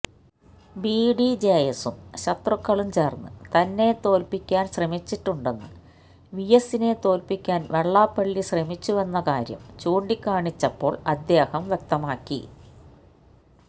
ബിഡിജെഎസും ശത്രുക്കളും ചേര്ന്ന് തന്നെ തോല്പ്പിക്കാന് ശ്രമിച്ചിട്ടുണ്ടെന്ന് വിഎസിനെ തോല്പ്പിക്കാന് വെള്ളാപ്പള്ളി ശ്രമിച്ചുവെന്ന കാര്യം ചൂണ്ടിക്കാണിച്ചപ്പോള് അദ്ദേഹം വ്യക്തമാക്കി